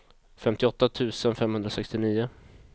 femtioåtta tusen femhundrasextionio